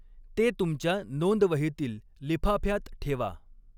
ते तुमच्या नोंदवहीतील लिफाफ्यात ठेवा.